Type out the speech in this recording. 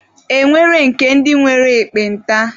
E nwere nke ndi nwere ekpenta.